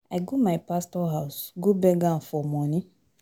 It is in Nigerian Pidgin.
I go my pastor house go beg am for money.